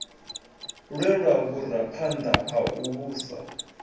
lwelwa vhuraphanḓa ha u vhusa